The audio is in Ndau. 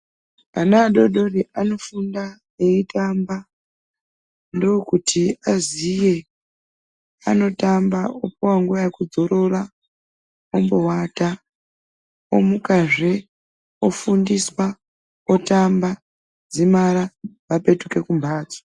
Ana adodori anofunda eiitamba ndokuti aziye anotamba popuva nguva yekudzorira ombovata, omukazve ofundiswa otamba dzimara vapetuka kumhatso.